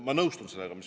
Ma nõustun sellega.